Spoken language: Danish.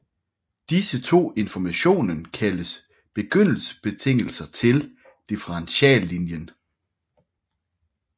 Disse to informationen kaldes begyndelsesbetingelser til differentialligningen